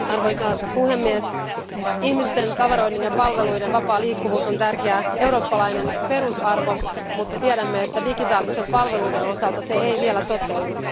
Arvoisa puhemies, ihmisten, tavaroiden ja palveluiden vapaa liikkuvuus on tärkeä eurooppalainen perusarvo, mutta tiedämme, että digitaalisten palveluiden osalta se ei vielä toteudu.